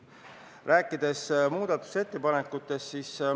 Nüüd räägin muudatusettepanekutest.